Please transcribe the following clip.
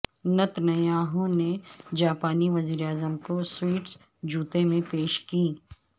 Netanyahu نے جاپانی وزیراعظم کو سوئٹس جوتے میں پیش کیں